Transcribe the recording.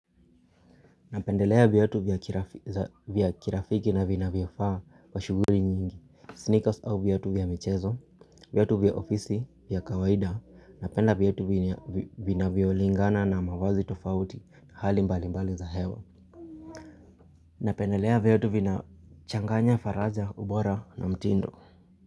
Napendelea viatu vya kirafiki na vinavyofaa wa shuguli nyingi Sneakers au viatu vya mechezo. Viatu vya ofisi vya kawaida napenda viatu vinavyo lingana na mavazi tofauti. Hali mbali mbali za hewa napendelea viatu vina changanya faraja ubora na mtindo.